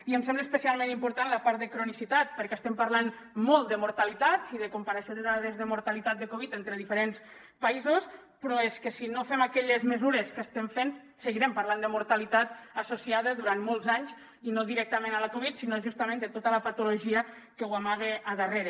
i em sembla especialment important la part de cronicitat perquè estem parlant molt de mortalitat i de comparació de dades de mortalitat de covid entre diferents països però és que si no fem aquelles mesures que estem fent seguirem parlant de mortalitat associada durant molts anys i no directament a la covid sinó justament de tota la patologia que l’amaga a darrere